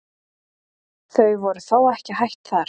Þau voru þó ekki hætt þar.